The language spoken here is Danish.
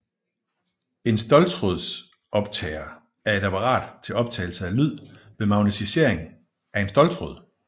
En ståltrådsoptager er et apparat til optagelse af lyd ved magnetisering af en ståltråd